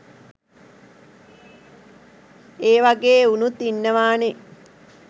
ඒ වගේ එවුනුත් ඉන්නවා නේ